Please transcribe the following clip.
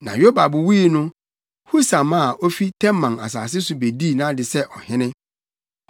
Na Yobab wui no, Husam a ofi Teman asase so bedii nʼade sɛ ɔhene.